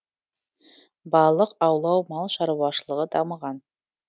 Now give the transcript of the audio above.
балық аулау мал шаруашылығы дамыған